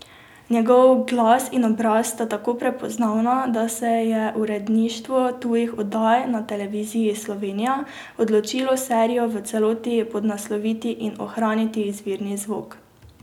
Njegov glas in obraz sta tako prepoznavna, da se je uredništvo tujih oddaj na Televiziji Slovenija odločilo serijo v celoti podnasloviti in ohraniti izvirni zvok.